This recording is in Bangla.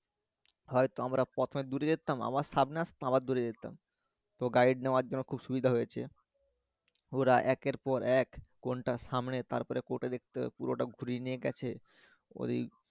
হইত আমারা প্রথমে দূরে যেতাম আবার সামনে আসতাম আবার দূরে যেতাম, তো guide নেওয়ার জন্য খুব সুবিধা হয়েছে ওরা একের পর এক কোনটা সামনে তারপরে দেখতে হবে পুরোটা ঘুরিয়ে নিয়ে গেছে ওইদিক